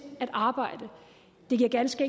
at arbejde det giver ganske